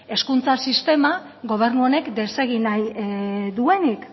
hezkuntza sistema gobernu honen desegin nahi duenik